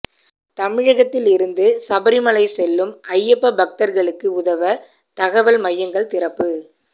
தமிழகத்திலிருந்து சபரிமலை செல்லும் ஐயப்ப பக்தா்களுக்கு உதவ தகவல் மையங்கள் திறப்பு